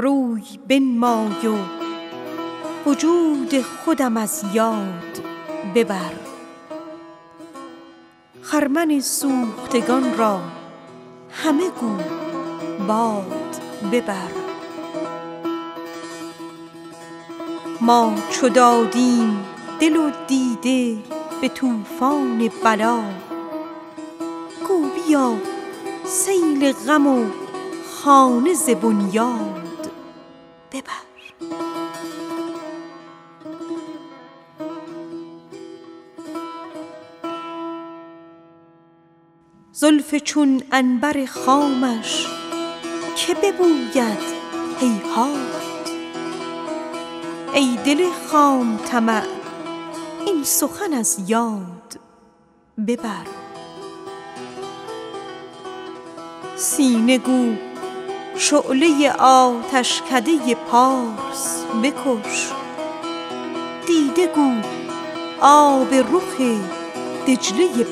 روی بنمای و وجود خودم از یاد ببر خرمن سوختگان را همه گو باد ببر ما چو دادیم دل و دیده به طوفان بلا گو بیا سیل غم و خانه ز بنیاد ببر زلف چون عنبر خامش که ببوید هیهات ای دل خام طمع این سخن از یاد ببر سینه گو شعله آتشکده فارس بکش دیده گو آب رخ دجله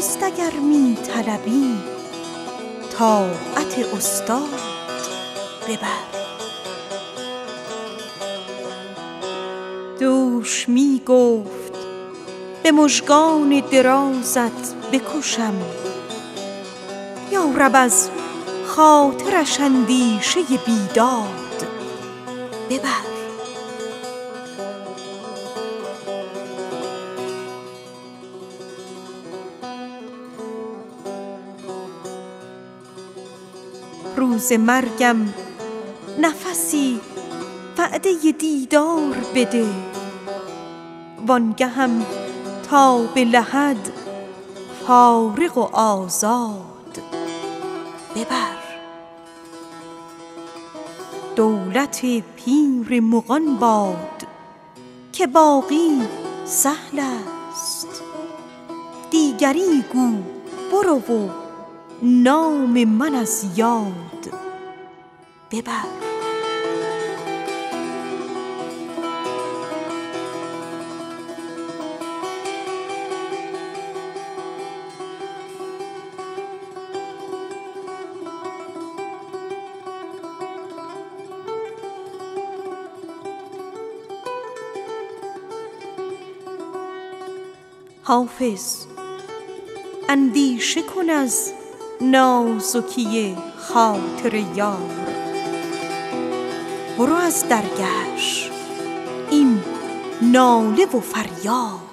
بغداد ببر دولت پیر مغان باد که باقی سهل است دیگری گو برو و نام من از یاد ببر سعی نابرده در این راه به جایی نرسی مزد اگر می طلبی طاعت استاد ببر روز مرگم نفسی وعده دیدار بده وآن گهم تا به لحد فارغ و آزاد ببر دوش می گفت به مژگان درازت بکشم یا رب از خاطرش اندیشه بیداد ببر حافظ اندیشه کن از نازکی خاطر یار برو از درگهش این ناله و فریاد ببر